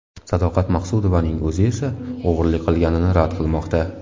Sadoqat Maqsudovaning o‘zi esa o‘g‘irlik qilganini rad qilmoqda.